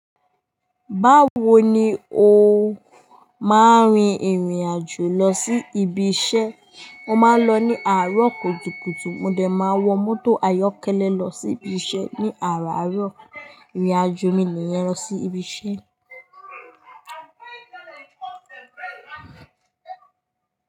Báwo ni o máa ń rin ìrìn àjò lọ sí ibi iṣẹ́? Mo máa ń lọ ní àárọ̀ kùtùkùtù. Mo dè máa wọ mọ́tò ayọ́kẹ́lẹ́ lọ sí ibi iṣẹ́ ní àárọ̀ àárọ̀. Ìrìn àjò mi níyèn lò sí ibi iṣẹ́.